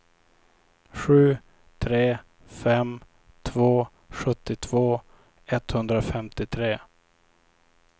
sju tre fem två sjuttiotvå etthundrafemtiotre